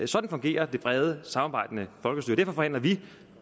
sådan fungerer det brede samarbejdende folkestyre derfor forhandler vi